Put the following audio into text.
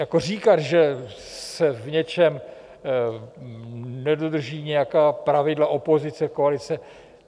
Jako říkat, že se v něčem nedodrží nějaká pravidla, opozice, koalice...